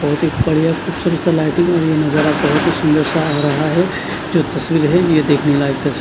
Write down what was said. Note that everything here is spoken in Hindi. बहोत ही बढ़िया खूबसूरत सा लाइटिंग सुंदर सा हो रहा है जो तस्वीर है ये देखने लायक तस--